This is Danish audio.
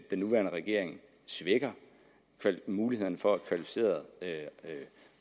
nuværende regering svækker mulighederne for at kvalificerede